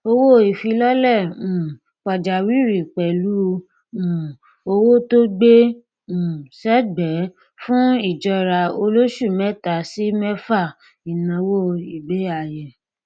owóìfilọlẹ um pàjáwìrì pẹlú um owó tó gbé um sẹgbẹẹ fún ìjọra olóṣù mẹta sí mẹfà ìnáwó ìgbéayé